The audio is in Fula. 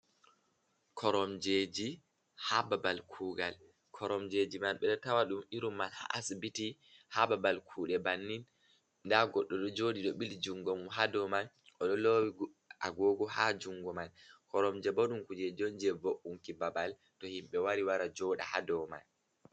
Koromjeji ha babal kugal, koromjeji man ɓe ɗo tawa ɗum irum man haa asbiti, haa babal kuɗe bannin, nda goɗɗo ɗo joɗi ɗo ɓili jougo haa dow man, o ɗo lowi agogo haa jungo man. Koromjebo ɗum kujeji on je vo’unki babal to himɓe wari wara joɗa haa dow man.